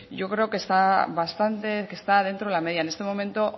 yo creo que está dentro de la media en este momento